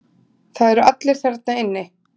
Það eru allir þarna inni.